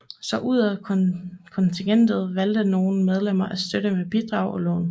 Så udover kontingentet valgte nogle medlemmer at støtte med bidrag og lån